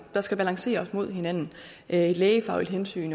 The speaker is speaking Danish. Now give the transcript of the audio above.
der skal balanceres mod hinanden et lægefagligt hensyn